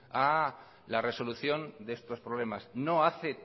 a la resolución de estos problemas no hace